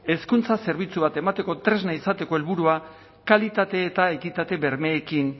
hezkuntza zerbitzu bat emateko tresna izateko helburua kalitate eta ekitate bermeekin